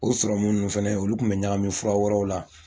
O ninnu fana olu tun bɛ ɲagami fura wɛrɛw la